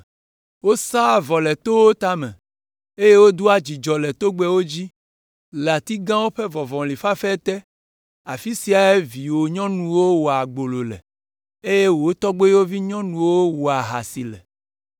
Wosaa vɔ le towo tame, eye wodoa dzudzɔ le togbɛwo dzi, le ati gãwo ƒe vɔvɔli fafɛ te. Afi siae viwò nyɔnuwo wɔa gbolo le, eye wò toyɔvi nyɔnuwo wɔa ahasi le.